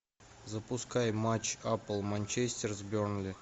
запускай матч апл манчестер с бернли